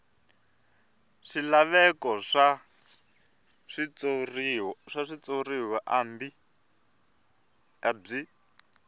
swilaveko swa switshuriwa a byi